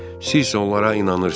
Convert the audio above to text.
Siz isə onlara inanırsız.